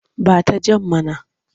Ba ta jan mana!